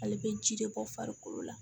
Ale bɛ ji de bɔ farikolo la